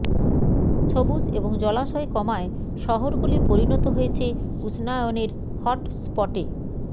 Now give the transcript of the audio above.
সবুজ এবং জলাশয় কমায় শহরগুলি পরিণত হয়েছে উষ্ণায়নের হটস্পটে